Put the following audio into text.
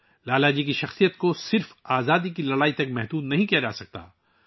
لالہ جی کی شخصیت صرف جدوجہد آزادی تک محدود نہیں رہ سکتی